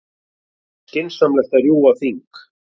Skynsamlegast að rjúfa þing